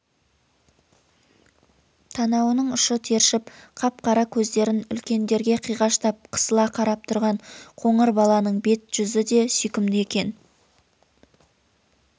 танауының ұшы тершіп қап-қара көздерін үлкендерге қиғаштап қысыла қарап тұрған қоңыр баланың беті-жүзі де сүйкімді екен